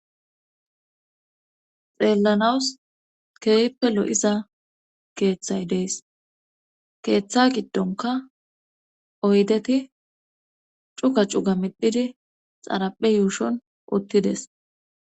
Xeellanaws keehippe lo7iza keethay dees keetha giddonkka oydeti cuga cuga medhidi xaraohe yuushon uttides.